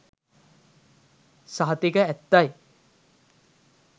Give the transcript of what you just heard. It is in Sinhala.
සහතික ඇත්තයි.